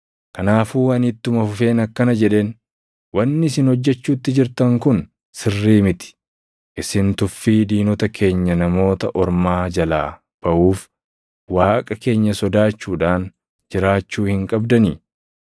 Kanaafuu ani ittuma fufeen akkana jedheen; “Wanni isin hojjechuutti jirtan kun sirrii miti. Isin tuffii diinota keenya Namoota Ormaa jalaa baʼuuf, Waaqa keenya sodaachuudhaan jiraachuu hin qabdanii?